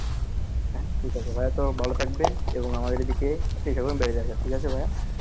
ঠিকাছে ভাইয়া তো ভালো থাকবেন এবং আমাদের এদিকে free সময় বেড়াতে আসিয়েন ঠিকাছে ভাইয়া